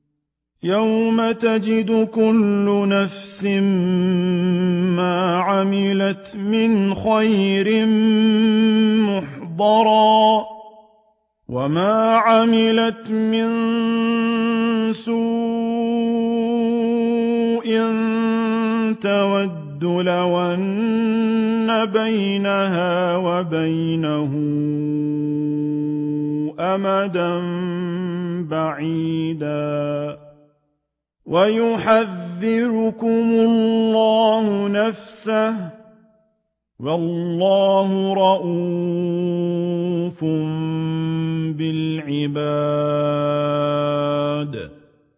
يَوْمَ تَجِدُ كُلُّ نَفْسٍ مَّا عَمِلَتْ مِنْ خَيْرٍ مُّحْضَرًا وَمَا عَمِلَتْ مِن سُوءٍ تَوَدُّ لَوْ أَنَّ بَيْنَهَا وَبَيْنَهُ أَمَدًا بَعِيدًا ۗ وَيُحَذِّرُكُمُ اللَّهُ نَفْسَهُ ۗ وَاللَّهُ رَءُوفٌ بِالْعِبَادِ